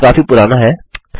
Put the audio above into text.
यह काफी पुराना है